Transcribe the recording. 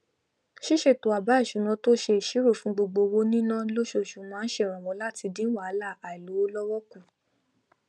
ṣíṣètò àbá ìṣúná tó ṣe ìṣirò fún gbogbo owó níná lóṣooṣù máa n ṣèrànwọ láti dín wàhálà àìlówó lọwọ kù